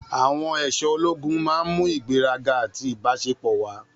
Àwọn aṣọ ológun máa ń mú ìgbéraga àti ìbáṣepọ̀ wá.